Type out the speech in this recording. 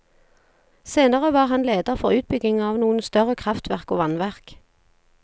Senere var han leder for utbyggingen av noen større kraftverk og vannverk.